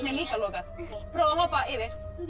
líka lokað prófa að hoppa yfir þvílík